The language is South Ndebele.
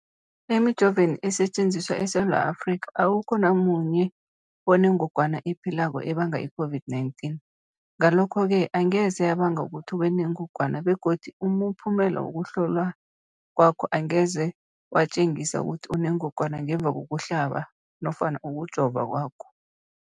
Emijoveni esetjenziswa eSewula Afrika, awukho namunye onengog wana ephilako ebanga i-COVID-19. Ngalokho-ke angeze yabanga ukuthi ubenengogwana begodu umphumela wokuhlolwan kwakho angeze watjengisa ukuthi unengogwana ngemva kokuhlaba nofana kokujova kwakho.